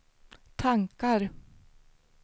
tankar